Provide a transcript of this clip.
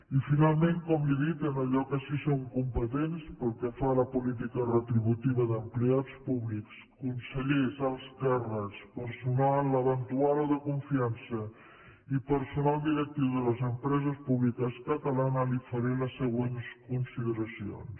i finalment com li he dit en allò que sí que som compe tents pel que fa a la política retributiva d’empleats públics consellers alts càrrecs personal eventual o de confiança i personal directiu de les empreses públiques catalanes li faré les següents consideracions